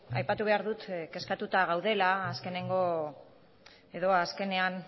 aipatu behar dut kezkatuta gaudela azkeneko edo azkenean